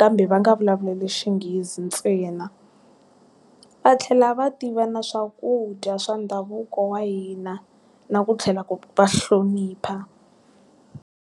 kambe va nga vulavuli xinghezi ntsena. Va tlhela va tiva na swakudya swa ndhavuko wa hina, na ku tlhela ku va hlonipha.